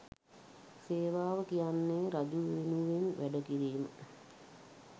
සේවාව කියන්නේ රජු වෙනුවෙන් වැඩ කිරීම